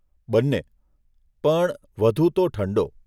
બંને. પણ વધુ તો ઠંડો.